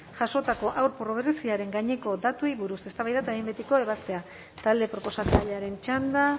jasotako haur pobreziaren gaineko datuei buruz eztabaida eta behin betiko ebazpena talde proposatzailearen txanda